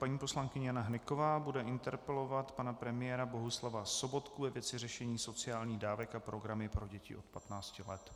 Paní poslankyně Jana Hnyková bude interpelovat pana premiéra Bohuslava Sobotku ve věci řešení sociálních dávek a programy pro děti od 15 let.